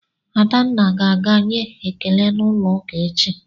Adanna ga-aga nye ekele n'ụlọụka echi